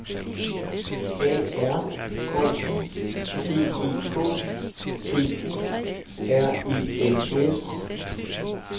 A R K I T E K T U R E N S